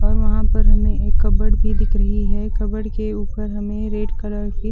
और वहा पर हमे एक कबर्ड भी दिख रही है कबर्ड के उपर हमे रेड कलर की-- कबर्ड